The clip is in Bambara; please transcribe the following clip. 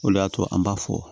O de y'a to an b'a fɔ